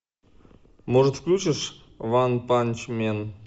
может включишь ванпанчмен